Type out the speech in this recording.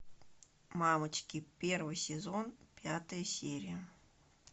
мамочки первый сезон пятая серия